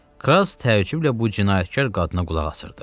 Kras təəccüblə bu cinayətkar qadına qulaq asırdı.